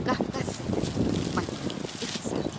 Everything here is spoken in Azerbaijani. Qafqaz səfəri, Bakı, ixtisarla.